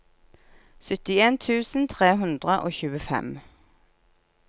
syttien tusen tre hundre og tjuefem